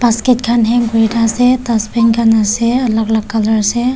sked khan hang kurna ase dustbin khan ase alak alak colour ase.